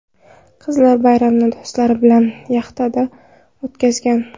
Qizlar bayramni do‘stlari bilan yaxtaga o‘tkazgan.